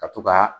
Ka to ka